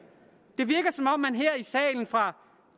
i salen fra